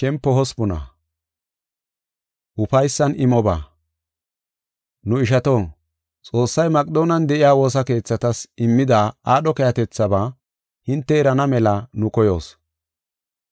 Nu ishato, Xoossay Maqedoonen de7iya woosa keethatas immida aadho keehatethaba hinte erana mela nu koyoos.